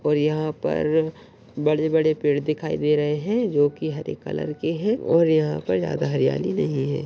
और यहाँ पर बड़े बड़े पेड़ दिखाई दे रहे है जो की हरे कलर के है और यहाँ पर ज्यादा हरियाली नहीं है।